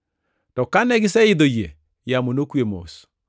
To kane giseidho yie, yamo nokwe mos.